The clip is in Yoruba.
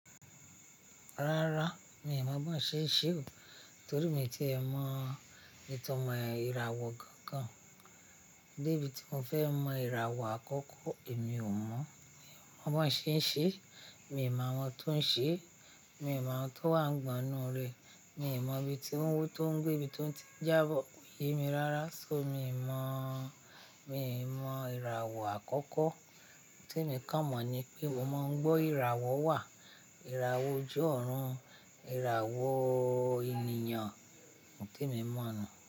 Rárá, mi ò mọ bi wọń ṣe ń ṣe o, torí mo ti ẹ̀ mọ ìtàn ìràwọ̀ kankan. Debí tí mo fẹ́ mọ ìràwọ̀ àkọ́kọ́ èmi ò mọ̀. Mi ò mọ bi wọn ṣe ń ṣe, mi ò mọ àwọn tó ń ṣe, mi ò mọ àwọn tó wà gbọ̀nà rẹ̀, mi ò mọ ibi tí ó ń, tó ń gbé, ibi tó ti ń jábọ́, kò yé mi rara. So mi mọ̀, mi mọ ìràwọ̀ àkọ́kọ́. Ohun tí emi kàn mọ̀ ni pé mo máa ń gbọ́ ìràwọ̀ wà, ìràwọ̀ ojú ọ̀run, ìràwọ̀ ènìyàn, ohun temi mọ̀ nu.